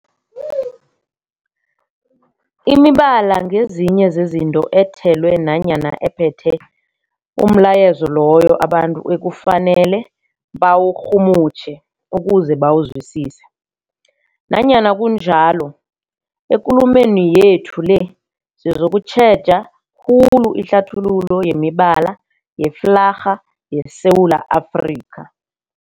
Imibala ngezinye zezinto ethelwe nanyana ephethe umlayezo loyo abantu ekufanele bawurhumutjhe ukuze bawuzwisise. Nanyana kunjalo, ekulumeni yethu le sizokutjheja khulu ihlathululo yemibala yeflarha yeSewula Afrika.